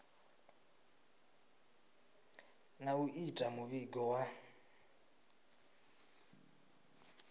na u ita muvhigo wa